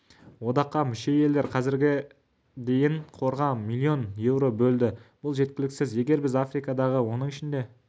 одаққа мүше елдер қазірге дейін қорға миллион еуро бөлді бұл жеткіліксіз егер біз африкадағы оның ішінде